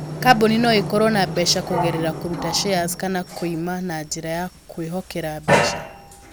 Kambuni no ikorũo na mbeca kũgerera kũruta shares kana kwĩima na njĩra ya kwĩhokera mbeca.